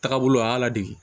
Taga bolo a y'a la de